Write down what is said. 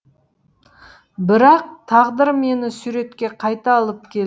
бірақ тағдыр мені суретке қайта алып келді